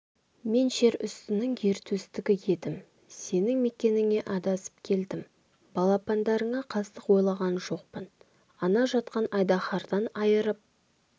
мен жер үстінің ер төстігі едім сенің мекеніңе адасып келдім балапандарыңа қастық ойлаған жоқпын ана жатқан айдаһардан айырып